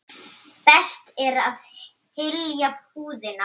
Best er að hylja húðina.